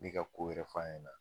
N mi ka ko wɛrɛ f'a ɲɛna